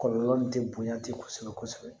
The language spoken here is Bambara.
Kɔlɔlɔ nin tɛ bonya ten kosɛbɛ kosɛbɛ